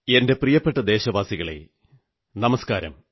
എന്റെ പ്രിയപ്പെട്ട ദേശവാസികളേ നമസ്കാരം